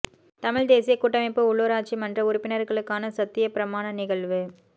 தமிழ்த் தேசியக் கூட்டமைப்பு உள்ளுராட்சி மன்ற உறுப்பினர்களுக்கான சத்தியப் பிரமான நிகழ்வு